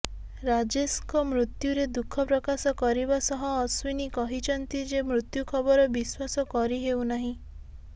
ରାଜେଶଙ୍କ ମୃତ୍ୟୁରେ ଦୁଃଖ ପ୍ରକାଶ କରିବା ସହ ଅଶ୍ୱିନୀ କହିଛନ୍ତି ଯେ ମୃତ୍ୟୁଖବର ବିଶ୍ୱାସ କରି ହେଉ ନାହିଁ